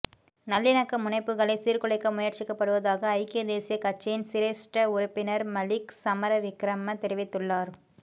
நல்லிணக்க முனைப்புக்கைள சீர்குலைக்க முயற்சிக்கப்படுவதாக ஐக்கிய தேசியக் கட்சியின் சிரேஸ்ட உறுப்பினர் மலிக் சமரவிக்ரம தெரிவித்துள்ளார்